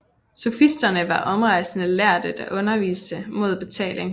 Sofisterne var omrejsende lærde der underviste imod betaling